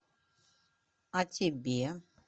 а тебе